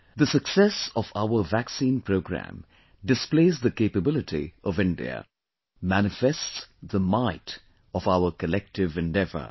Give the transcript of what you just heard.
The success of our vaccine programme displays the capability of India...manifests the might of our collective endeavour